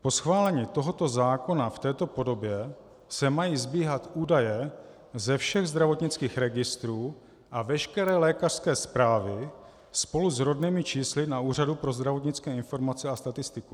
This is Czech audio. Po schválení tohoto zákona v této podobě se mají sbíhat údaje ze všech zdravotnických registrů a veškeré lékařské zprávy spolu s rodnými čísly na Úřadu pro zdravotnické informace a statistiku.